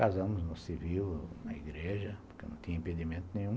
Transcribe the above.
Casamos no civil, na igreja, porque não tinha impedimento nenhum.